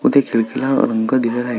व त्या खिडकी ला रंग दिलेला आय--